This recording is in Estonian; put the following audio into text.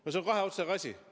See on kahe otsaga asi.